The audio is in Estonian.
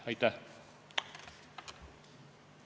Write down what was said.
Aitäh!